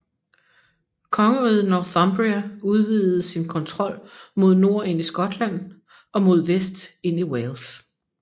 Kongeriget Northumbria udvidede sin kontrol mod nord ind i Skotland og mod vest ind i Wales